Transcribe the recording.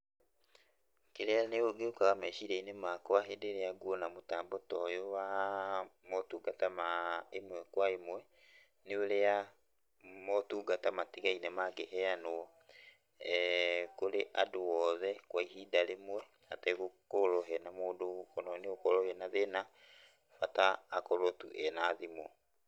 Kĩrĩa gĩũkaga meciria-inĩ makwa hĩndĩ ĩrĩa nguona mũtambo ta ũyũ waa motungata ma ĩmwe kwa ĩmwe, nĩ ũrĩa motungata matigaine mangĩheanũo kũrĩ andũ oothe kwa ihinda rĩmwe, hategũkorwo hena mũndũ ũgũkorwo wĩnat hĩna, bata akorwo tu ena thimũ.